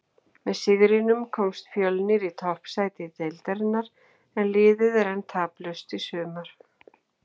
Með sigrinum komst Fjölnir í toppsæti deildarinnar en liðið er enn taplaust í sumar.